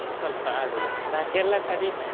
ಸೊಲ್ಪ ಆಡುದು ಬಾಕಿ ಎಲ್ಲಾ ಕಡಿಮೆ.